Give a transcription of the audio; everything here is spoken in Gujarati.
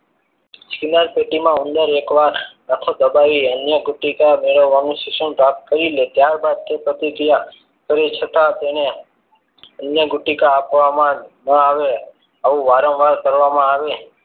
ચિનાર પેટીમાં ઉંદર એક વાર આખો દબાઈ અહીંયા અન્ન પુટિકા મેળવવાનું શિક્ષણ પ્રાપ્ત કરી લે ત્યારબાદ તે પ્રતિક્રિયા કરી છતાં તેને અન્ન ગુટિકા આપવામાં ના આવે આવું વારંવાર કરવામાં આવી.